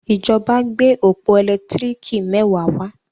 ìjọba gbé ọpọ elekitiriki mẹwa wá.